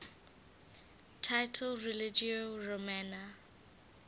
title religio romana